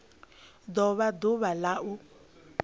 do vha ḓuvha la u